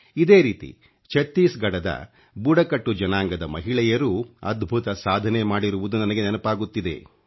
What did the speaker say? ಇದೇ ರೀತಿ ಛತ್ತೀಸ್ಘಡದ ಬುಡಕಟ್ಟು ಜನಾಂಗದ ಮಹಿಳೆಯರೂ ಅದ್ಭುತ ಸಾಧನೆ ಮಾಡಿರುವುದು ನನಗೆ ನೆನಪಾಗುತ್ತಿದೆ